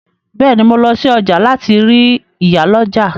Bẹ́ẹ̀ ni, mo lọ sí ọjà láti rí ìyálọ́jà.